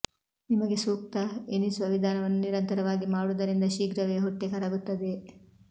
ನಿಮಗೆ ಸೂಕ್ತ ಎನಿಸುವ ವಿಧಾನವನ್ನು ನಿರಂತರವಾಗಿ ಮಾಡುವುದರಿಂದ ಶೀಘ್ರವೇ ಹೊಟ್ಟೆ ಕರಗುತ್ತದೆ